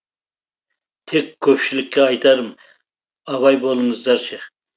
тек көпшілікке айтарым абай болыңыздаршы